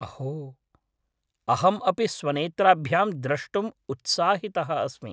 अहो! अहम् अपि स्वनेत्राभ्यां द्रष्टुम् उत्साहितः अस्मि।